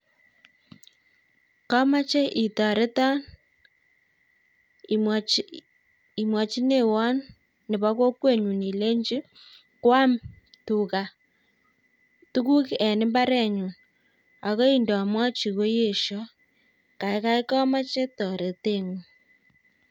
Kamache itoreton imwachineiwon nebo kokwenyu ilenchi koam tuga tukuk eng imbarenyu akoi ndamwachi koesho kaikai kameche toreteng'ung